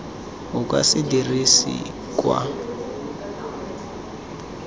o ka se dirisiwe kwa